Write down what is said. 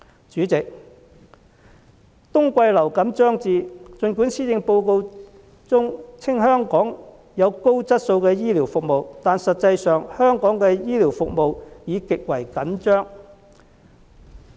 主席，冬季流感將至，儘管施政報告稱香港享有高質素的醫療服務，但實際上，香港醫療服務已極為緊張。